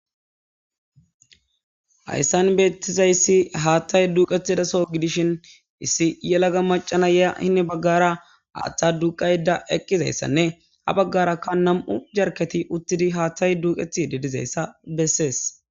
hayssan beettizayssi haattay duuqetidaso gidishin issi yelaga macana ya hine baggara aaththa duuqayda eqqizayssanne ha baggaraka nam7u jarketi uttidi haattay duuqethi di dizayssa bessees